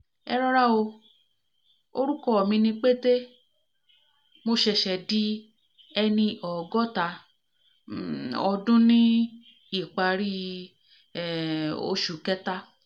erora o orúkọ mi ni pete mo ṣẹ̀ṣẹ̀ di ẹni ọgọ́ta um ọdún ní ìparí um oṣù kẹta